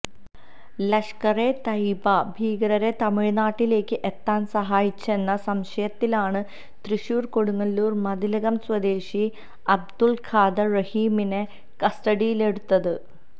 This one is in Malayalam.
ലഷ്കറെ തയിബ ഭീകരരെ തമിഴ്നാട്ടിലേക്ക് എത്താന് സഹായിച്ചെന്ന സംശയത്തിലാണ് തൃശൂര് കൊടുങ്ങല്ലൂര് മതിലകം സ്വദേശി അബ്ദുള് ഖാദര് റഹീമിനെ കസ്റ്റഡിയിലെടുത്തത്